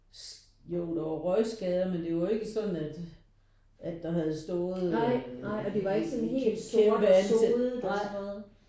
Jo der var røgskader men det var ikke sådan at at der havde stået eller kæmpe antændt nej